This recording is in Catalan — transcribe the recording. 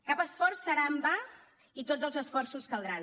cap esforç serà en va i tots els esforços caldran